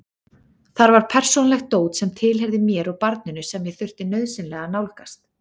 Þar var persónulegt dót sem tilheyrði mér og barninu sem ég þurfti nauðsynlega að nálgast.